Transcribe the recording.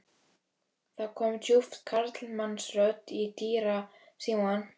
Það kom djúp karlmannsrödd í dyrasímann.